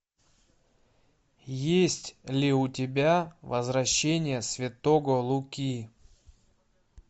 есть ли у тебя возвращение святого луки